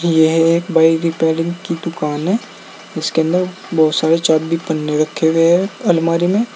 यह एक बाई रिपेयरिंग की दुकान है इसके अंदर बहोत सारे चाबी पन्ने रखे हुए हैं अलमारी में।